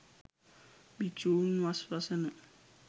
භික්‍ෂූන් වස් වසන